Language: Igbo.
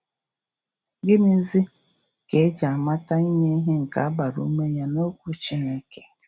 Gịnịzi ka e ji amata inye ihe nke a gbara ume ya n’Okwu Chineke?